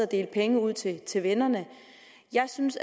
dele penge ud til til vennerne jeg synes